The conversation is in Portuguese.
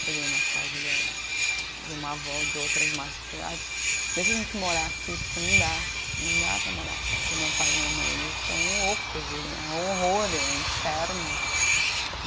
Cheguei na casa da de uma avó, de outra, de uma tia, aí, deixa a gente morar aqui porque não dá, não dá para morar com o meu pai e com a minha mãe, eles são loucos, é um horror, é um inferno.